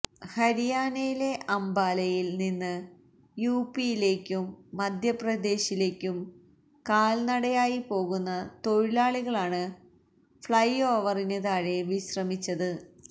ഹരിയാനയിലെ അംബാലയിൽ നിന്ന് യുപിയിലേക്കും മധ്യപ്രദേശിലേക്കും കാൽനടയായി പോകുന്ന തൊഴിലാളികളാണ് ഫ്ലൈഓവറിന് താഴെ വിശ്രമിച്ചത്